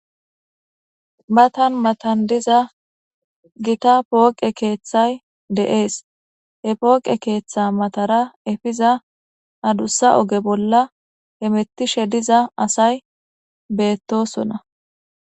matan matan diza gita pooqe keeththay de7ees e pooqe keeththa matara efiza adussa oge bolla he mettishe diza asay beettosona